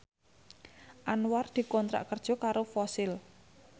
Anwar dikontrak kerja karo Fossil